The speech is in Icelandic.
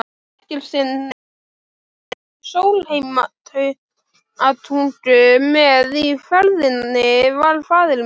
Eggertssyni bónda í Sólheimatungu, með í ferðinni var faðir minn